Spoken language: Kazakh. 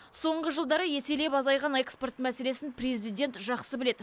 соңғы жылдары еселеп азайған экспорт мәселесін президент жақсы біледі